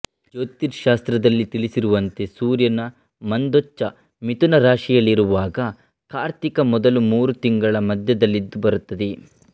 ಜ್ಯೋತಿಶ್ಯಾಸ್ತ್ರದಲ್ಲಿ ತಿಳಿಸಿರುವಂತೆ ಸೂರ್ಯನ ಮಂದೋಚ್ಚ ಮಿಥುನರಾಶಿಯಲ್ಲಿರುವಾಗ ಕಾರ್ತಿಕ ಮೊದಲು ಮೂರು ತಿಂಗಳ ಮಧ್ಯದಲ್ಲಿದು ಬರುತ್ತದೆ